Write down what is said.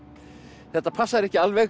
þetta passar ekki alveg